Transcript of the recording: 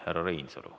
Härra Reinsalu.